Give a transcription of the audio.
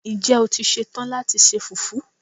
Ǹjẹ́ o ti ṣe tán láti se Fùfú?